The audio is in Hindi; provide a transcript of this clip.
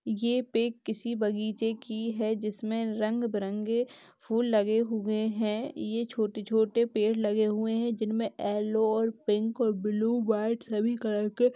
ये पिक किसी बगीचे की है जिसमें रंग बिरंगे फूल लगे हुए हैं ये छोटे-छोटे पेड़ लगे हुए हैं जिसमें येलो और पिंक और ब्लू वाइट सभी कलर के --